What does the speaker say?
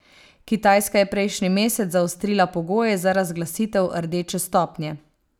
Kitajska je prejšnji mesec zaostrila pogoje za razglasitev rdeče stopnje.